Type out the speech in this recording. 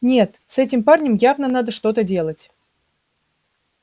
нет с этим парнем явно надо что-то делать